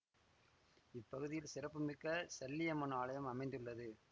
இப்பகுதியில் சிறப்புமிக்க சல்லியம்மன் ஆலயம் அமைந்துள்ளது